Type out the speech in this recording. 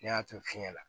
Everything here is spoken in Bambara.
Ne y'a to fiɲɛ na